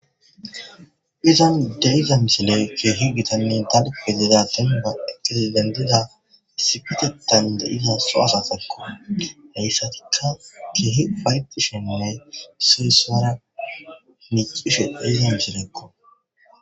Izan deiza misile keehi gitanne tanpe zida ten ba eqesi dendida sifitetan de'iza so asasekko heyssatikka keehi paydu shenne siesara nicishe deyze misilekko